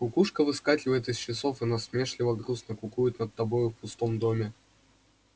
кукушка выскакивает из часов и насмешливо-грустно кукует над тобою в пустом доме